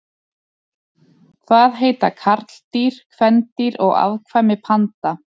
Hvað heita karldýr, kvendýr og afkvæmi panda?